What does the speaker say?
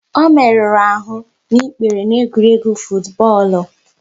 Ọ merụrụ ahụ n'ikpere n'egwuregwu futubọọlu